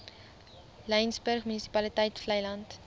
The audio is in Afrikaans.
laingsburg munisipaliteit vleiland